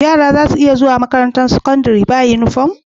Yara zasu iya zuwa makarantar sakandari ba inufom